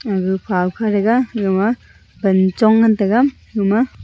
aga phawkha rega gama pan chong ngan taiga gama.